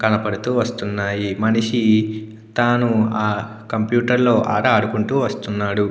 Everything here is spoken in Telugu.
కనబడుతూ వస్తున్నాయి. మనిషి తాను ఆ కంప్యూటర్లో ఆట ఆడుకుంటూ వస్తున్నాడు.